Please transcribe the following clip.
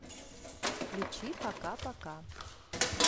включи пока пока